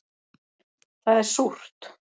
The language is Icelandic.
Það er súrt